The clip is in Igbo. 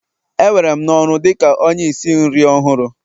E were m n'ọrụ dị ka onye isi nri ọhụrụ